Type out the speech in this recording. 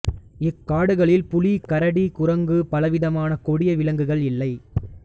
இக்காடுகளில் புலி கரடி குரங்கு பலவிதமான கொடிய விலங்குகள் இல்லை